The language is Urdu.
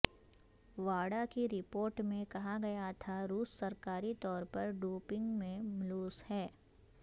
واڈا کی رپورٹ میں کہا گیا تھا روس سرکاری طور پر ڈوپنگ میں ملوث ہے